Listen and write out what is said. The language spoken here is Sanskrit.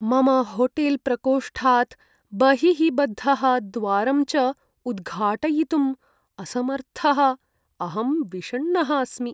मम होटेल्प्रकोष्ठात् बहिः बद्धः, द्वारं च उद्घाटयितुम् असमर्थः अहं विषण्णः अस्मि।